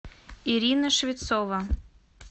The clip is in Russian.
ирина швецова